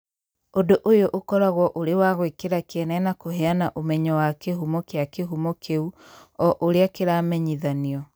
Ũndũ ũyũ ũkoragwo ũrĩ wa gwĩkĩra kĩene na kũheana ũmenyo wa kĩhumo kĩa kĩhumo kĩu o ũrĩa kĩramenyithanio.